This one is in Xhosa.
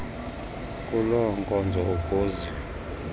kuloo nkonzo ukuze